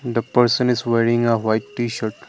the person is wearing a white T shirt.